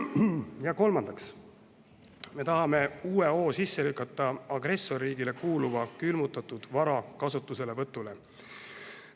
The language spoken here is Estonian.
Ja kolmandaks tahame uue hoo sisse lükata agressorriigile kuuluva külmutatud vara kasutuselevõtule.